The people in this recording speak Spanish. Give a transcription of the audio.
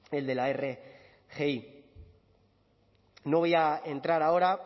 el de la rgi no voy a entrar ahora